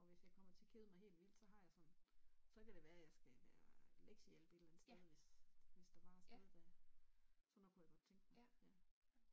Og hvis jeg kommer til at kede mig helt vildt så har jeg sådan så kan det være jeg skal være lektiehjælp et eller andet sted hvis hvis der var et sted der sådan noget kunne jeg godt tænke mig